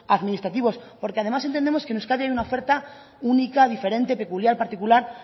administrativos porque además entendemos que en euskadi hay una oferta única diferente peculiar particular